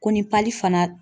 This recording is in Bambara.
Ko ni fana